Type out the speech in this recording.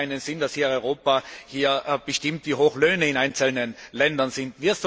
es macht keinen Sinn, dass Europa hier bestimmt, wie hoch Löhne in einzelnen Ländern sind.